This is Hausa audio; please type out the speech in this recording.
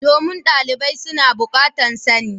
Domin dalibai su na bukatan sani.